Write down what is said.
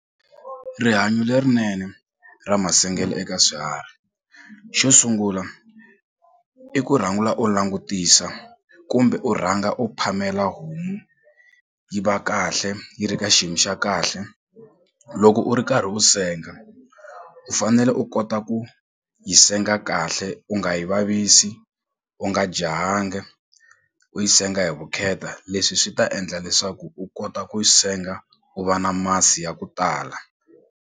Rihanyo lerinene ra masengele eka swiharhi xo sungula i ku u langutisa kumbe u rhanga u phamela homu yi va kahle yi ri ka xiyimo xa kahle loko u ri karhi u senga u fanele u kota ku yi senga kahle u nga yi vavisi u nga jahanga u yi senga hi vukheta leswi swi ta endla leswaku u kota ku senga u va na masi ya ku tala.